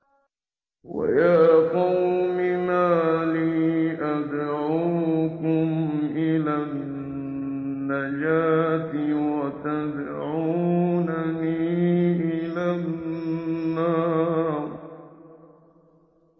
۞ وَيَا قَوْمِ مَا لِي أَدْعُوكُمْ إِلَى النَّجَاةِ وَتَدْعُونَنِي إِلَى النَّارِ